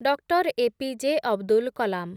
Doctor A P J. Abdul Kalam